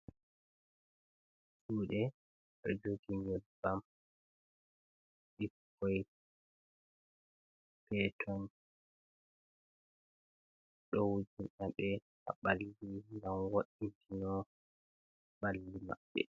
Juɗe ɗou joggï nyeɓbam, ɓikkon péton ɗou wujinaɓe ha ɓallï ji gam wôétino ɓalli mabbe.